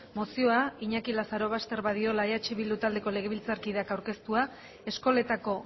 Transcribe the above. mozioa iñaki lazarobaster badiola eh bildu taldeko legebiltzarkideak aurkeztua eskoletako